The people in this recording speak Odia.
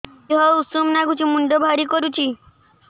ଦିହ ଉଷୁମ ନାଗୁଚି ମୁଣ୍ଡ ଭାରି କରୁଚି